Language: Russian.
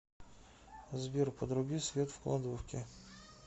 сбер подруби свет в кладовке